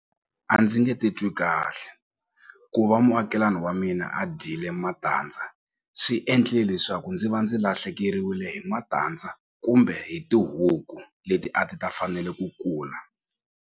A ndzi nge titwi kahle ku va muakelani wa mina a dyile matandza swi endle leswaku ndzi va ndzi lahlekeriwile hi matandza kumbe hi tihuku leti a ti ta fanele ku kula.